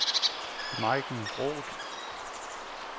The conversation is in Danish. Maiken Groth